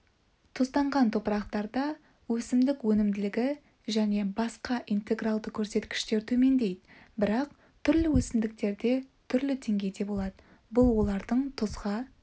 тұзданған топырақтарда өсімдік өнімділігі және басқа интегральды көрсеткіштер төмендейді бірақ түрлі өсімдіктерде түрлі деңгейде болады бұл олардың тұзға